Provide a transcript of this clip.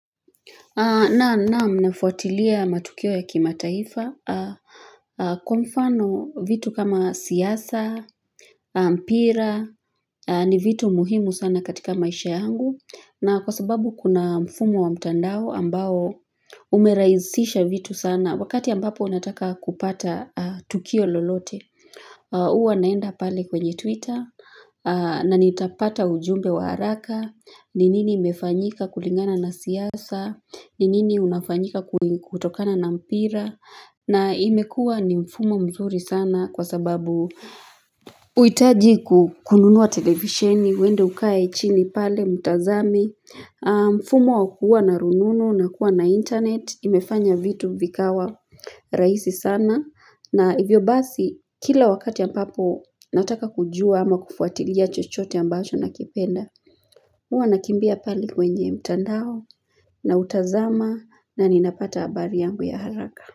Naam, nafuatilia matukio ya kimataifa. Kwa mfano, vitu kama siasa na mpira ni vitu muhimu sana katika maisha yangu. Na kwa sababu kuna mfumo wa mtandao ambao umerahisisha vitu sana. Wakati ambapo ninataka kupata tukio lolote, huwa ninaenda pale kwenye twitter na nitapata ujumbe wa haraka. Ni nini imefanyika kulingana na siasa, ni nini inafanyika kutokana na mpira, na imekuwa ni mfumo mzuri sana kwa sababu huitaji kununua televisheni mwende mkae chini pale mtazame. Mfumo wa kuwa na rununu na kuwa na 'internet' imefanya vitu vikawa rahisi sana. Na hivyo basi, kila wakati ambapo nataka kujua ama kufuatilia chochote ambacho ninakipenda huwa ninakimbia pale kwenye mtandao, nautazama na ninapata habari yangu ya haraka.